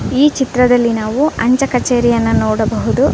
ಈ ಚಿತ್ರದಲ್ಲಿ ನಾವು ಅಂಚೆ ಕಚೇರಿಯನ್ನು ನೋಡಬಹುದು .